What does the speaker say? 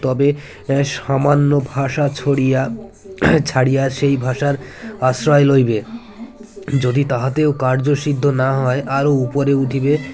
তবে সামান্য ভাষা ছড়িয়া ছাড়িয়ে সেই ভাষার আশ্রয় লইবে যদি তাহাতেও কার্যসিদ্ধ না হয় আরও উপরে উঠিবে